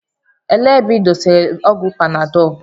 Elee ebe ị dosara ọgwụ panadọlu?